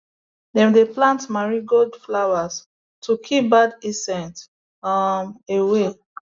dem dey plant marigold flowers to keep bad insects um away